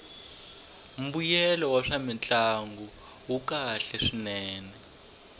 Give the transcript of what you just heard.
mbuyelo wa swamintlangu wu kahle swinene